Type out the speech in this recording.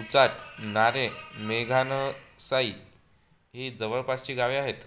उचाट नारे मेटघोणसई ही जवळपासची गावे आहेत